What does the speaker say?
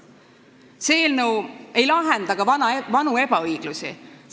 See eelnõu ei lahenda ka vanu ebaõiglusi.